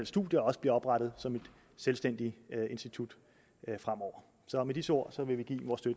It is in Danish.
studier også bliver oprettet som et selvstændigt institut fremover så med disse ord